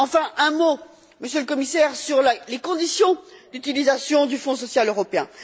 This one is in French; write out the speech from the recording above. Enfin, un mot, Monsieur le Commissaire, sur les conditions d'utilisation du Fonds social européen.